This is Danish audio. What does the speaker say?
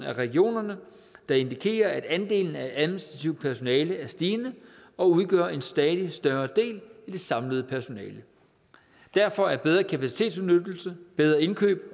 af regionerne der indikerer at andelen af administrativt personale er stigende og udgør en stadig større del af det samlede personale derfor er bedre kapacitetsudnyttelse bedre indkøb